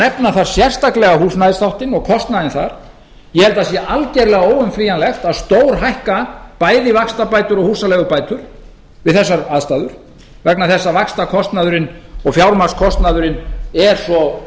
nefna þar sérstaklega húsnæðisþáttinn og kostnaðinn þar ég held að það sé algjörlega óumflýjanlegt að stórhækka bæði vaxtabætur og húsaleigubætur við þessar aðstæður vegna þess að vaxtakostnaðurinn og fjármagnskostnaðurinn er svo